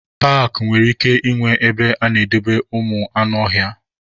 Paakị nwere ike ịnwe ebe ana-edobe ụmụ anụ ọhịa.